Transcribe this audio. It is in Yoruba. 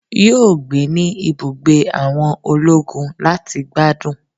Yo gbé ní ibùgbé àwọn ológun láti gbádùn